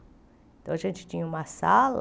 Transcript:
Então, a gente tinha uma sala...